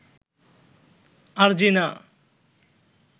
Arjina